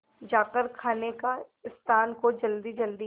जाकर खाने के स्थान को जल्दीजल्दी